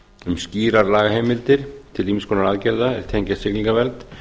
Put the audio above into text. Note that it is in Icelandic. um skýrar lagaheimildir til ýmiss konar aðgerða er tengjast siglingavernd